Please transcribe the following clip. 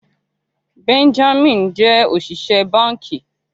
Benjamin jẹ oṣiṣẹ banki.